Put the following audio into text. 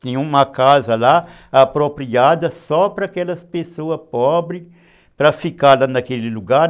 Tem uma casa lá, apropriada só para aquelas pessoas pobres, para ficarem naquele lugar.